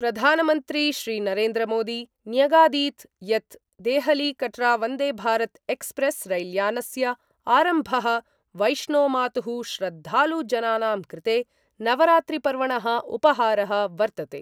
प्रधानमन्त्री श्रीनरेन्द्रमोदी न्यगादीत् यत् देहलीकटरावंदेभारतएक्सप्रेस् रैल्यानस्य आरम्भ: वैष्णोमातुः श्रद्धालुजनानां कृते नवरात्रिपर्वण: उपहार: वर्तते।